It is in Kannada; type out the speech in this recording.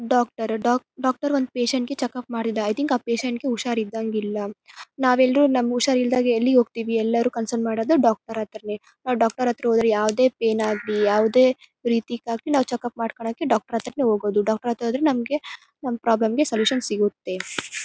ಡಾಕ್ಟರ್ ರು ಡಾಕ್ಟರ್ ಒಂದ್ ಪೇಷಂಟ್ ಗೆ ಚೆಕಪ್ ಮಾಡಿದ್ದ. ಐ ಥಿಂಕ್ ಆ ಪೇಷಂಟ್ ಗೆ ಹುಷಾರ್ ಇದ್ದಹಾಂಗ್ ಇಲ್ಲ. ನಾವ್ ಎಲ್ಲರು ನಮಗೆ ಹುಷಾರ್ ಇಲ್ದಾಗ ಎಲ್ಲಿಗೆ ಹೋಗ್ತಿವಿ ಎಲ್ಲರು ಕನ್ಸನ್ ಮಾಡೋದು ಡಾಕ್ಟರ್ ಹತ್ರನೇ. ಆ ಡಾಕ್ಟರ್ ಹತ್ರ ಹೋದ್ರೆ ಯಾವದೇ ಪೈನ್ ಆಗ್ಲಿ ಯಾವದೇ ರೀತಿಗಾಗ್ಲಿ ನಾವು ಚೆಕಪ್ ಮಾಡ್ಕೊಳಕ್ಕೆ ನಾವು ಡಾಕ್ಟರ್ ಹತ್ರನೇ ಹೋಗೋದು ಡಾಕ್ಟರ್ ಹತ್ರ ಹೋದ್ರೆ ನಮ್ಗೆ ನಮ್ ಪ್ರಾಬ್ಲಮ್ ಗೆ ಸಲ್ಯೂಷನ್ ಸಿಗುತ್ತೆ.